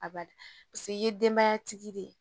A ba paseke i ye denbaya tigi de ye